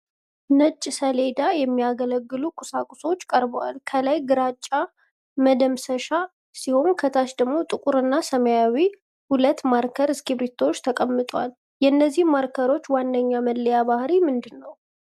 ለነጭ ሰሌዳ (Whiteboard) የሚያገለግሉ ቁሳቁሶች ቀርበዋል። ከላይ ግራጫማ መደምሰሻ ሲሆን ከታች ደግሞ ጥቁርና ሰማያዊ ሁለት ማርከር እስክርቢቶዎች ተቀምጠዋል። የእነዚህ ማርከሮች ዋነኛ መለያ ባህሪ ምንድነው?